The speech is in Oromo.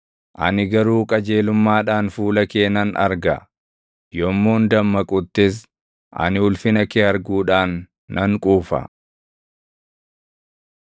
Ani garuu qajeelummaadhaan fuula kee nan arga; yommuun dammaquttis ani ulfina kee arguudhaan nan quufa.